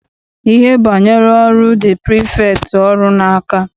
Ihe banyere ọrụ dị prifektị ọrụ n'aka.